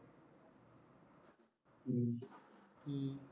ਹੂੰ